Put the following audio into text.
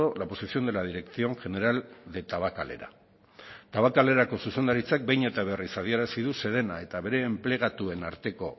la posición de la dirección general de tabakalera tabakalerako zuzendaritzak behin eta berriz adierazi du sedena eta bere enplegatuen arteko